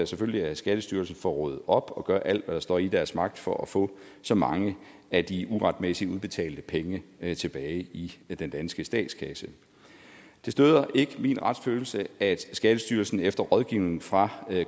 selvfølgelig at skattestyrelsen får rodet op og gør alt hvad der står i dens magt for at få så mange af de uretmæssigt udbetalte penge penge tilbage i den danske statskasse det støder ikke min retsfølelse at skattestyrelsen efter rådgivning fra